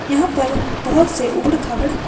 यहां पर बहुत से उपड़-खाबड़ --